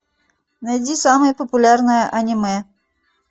найди самое популярное аниме